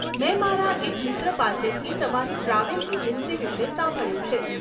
મેં મારા એક મિત્ર પાસેથી તમારી ટ્રાવેલ એજન્સી વિશે સાંભળ્યું છે.